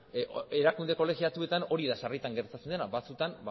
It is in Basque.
erakunde kolegiatuetan hori da sarritan gertatzen dena batzutan